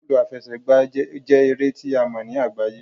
Bọọlu afẹsẹgba jẹ ere ti a mọ ni agbaye